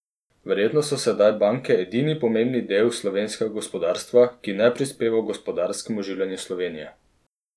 Verjetno so sedaj banke edini pomembni del slovenskega gospodarstva, ki ne prispeva h gospodarskemu oživljanju Slovenije.